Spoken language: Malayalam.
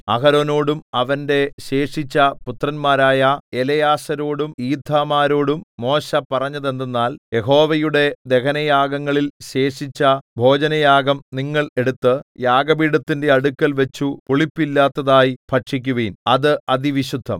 അഹരോനോടും അവന്റെ ശേഷിച്ച പുത്രന്മാരായ എലെയാസാരോടും ഈഥാമാരോടും മോശെ പറഞ്ഞതെന്തെന്നാൽ യഹോവയുടെ ദഹനയാഗങ്ങളിൽ ശേഷിച്ച ഭോജനയാഗം നിങ്ങൾ എടുത്തു യാഗപീഠത്തിന്റെ അടുക്കൽവച്ചു പുളിപ്പില്ലാത്തതായി ഭക്ഷിക്കുവിൻ അത് അതിവിശുദ്ധം